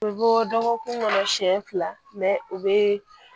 U bɛ bɔ dɔgɔkun kɔnɔ siɲɛ fila u bɛ